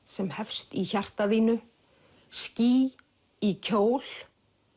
sem hefst í hjarta þínu ský í kjól